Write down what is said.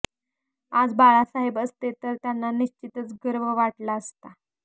आज बाळासाहेब असते तर त्यांना निश्चितच गर्व वाटला असता